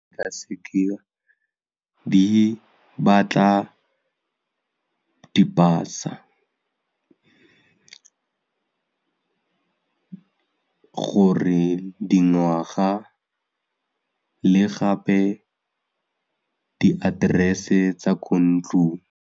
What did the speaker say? di batla di pasa gore dingwaga le gape di address-e tsa ko ntlong.